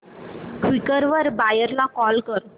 Quikr वर buyer ला call कर